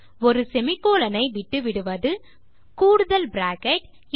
ஒரு செமிகோலன் ஐ விட்டுவிடுவது கூடுதல் பிராக்கெட்